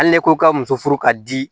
Hali ne ko ka muso furu ka di